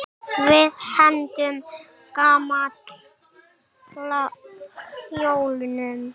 Við hendum gamla hjólinu.